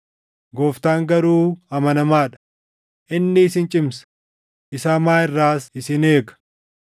Gooftaan garuu amanamaa dha; inni isin cimsa; isa hamaa irraas isin eega.